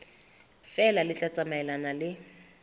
feela le tla tsamaelana le